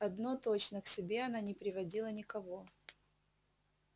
одно точно к себе она не приводила никого